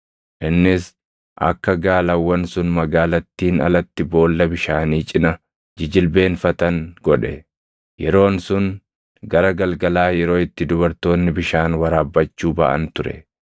Innis akka gaalawwan sun magaalattiin alatti boolla bishaanii cina jijilbeenfatan godhe; yeroon sun gara galgalaa yeroo itti dubartoonni bishaan waraabbachuu baʼan ture.